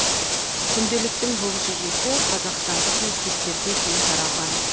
күнделіктің бұл жүйесі қазақстандық мектептерде кең тараған